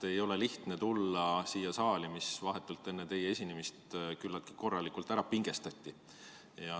Ei ole lihtne tulla siia saali, mis vahetult enne teie esinemist küllaltki korralikult ära pingestati.